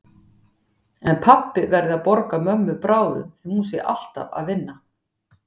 En pabbi verði að borga mömmu bráðum því hún sé alltaf að vinna.